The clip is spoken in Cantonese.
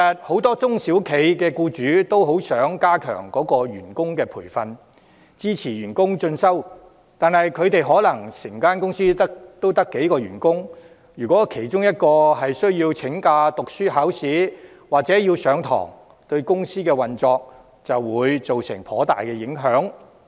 很多中小企僱主都想加強員工培訓，支持員工進修，但他們的公司可能只有幾名員工，如果其中一人要請假讀書、考試或上課，對公司運作可能有頗大影響。